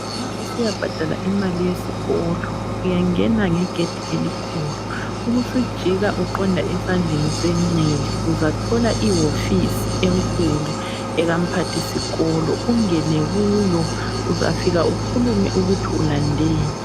Nxa usiyabhadala imali yezikolo, uyangena ngegedi elikhulu, ubusujika uqonda esandleni senxele, uzathola iwofisi enkulu ekaMphathisikolo. Ungene kuyo uzafika ukhulume ukuthi ulandeni.